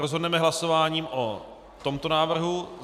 Rozhodneme hlasováním o tomto návrhu.